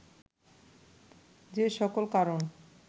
যে সকল কারণ